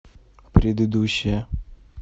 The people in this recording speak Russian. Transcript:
предыдущая